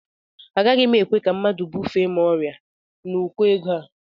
Agaghị m ekwe ka mmadụ bufee m ọrịa n'ụkọ ego a